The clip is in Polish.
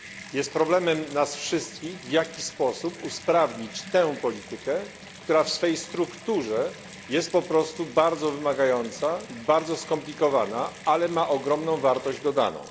Jest problemem nas wszystkich, w jaki sposób usprawnić tę politykę, która w swej strukturze jest po prostu bardzo wymagająca, bardzo skomplikowana, ale ma ogromną wartość dodaną.